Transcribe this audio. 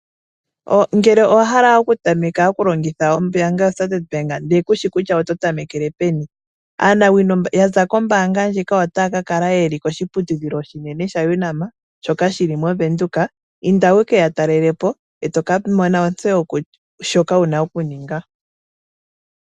Ngele owa hala okutameka okulongitha ombaanga yo Standard Bank ndele kushi kutya oto tamekele peni, aanawino ya za kombaanga ndjika otaya ka kala yeli koshiputudhilo oshinene sha Unam, soka shi li moVenduka. Inda wu ke ya talelepo e to ka mona ontseyo shoka wuna okuninga.